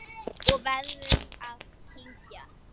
Og verður að kyngja.